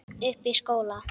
Uppi í skóla?